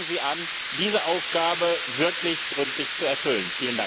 Fangen Sie an, diese Aufgabe wirklich gründlich zu erfüllen!